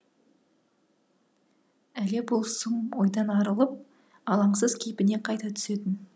іле бұл сұм ойдан арылып алаңсыз кейпіне қайта түсетін